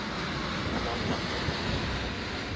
Nanna